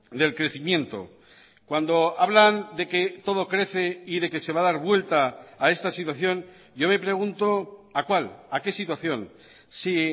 del crecimiento cuando hablan de que todo crece y de que se va a dar vuelta a esta situación yo me pregunto a cuál a qué situación si